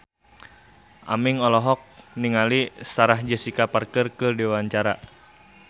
Aming olohok ningali Sarah Jessica Parker keur diwawancara